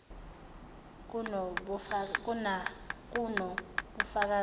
kuno bufakazi obanele